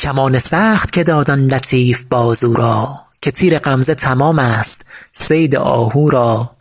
کمان سخت که داد آن لطیف بازو را که تیر غمزه تمام ست صید آهو را